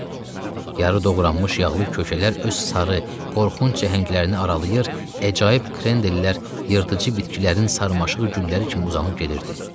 Yar-ı doğranmış yağlı kökələr öz sarı, qorxunc cəngəllərini aralayır, əcaib krendellər yırtıcı bitkilərin sarmaşıq gülləri kimi uzanıb gedirdi.